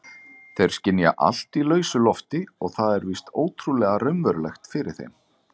Þeir skynja allt í lausu lofti og það er víst ótrúlega raunverulegt fyrir þeim.